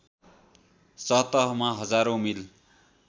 सतहमा हजारौँ मिल